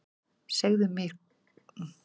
Segja mér hvað?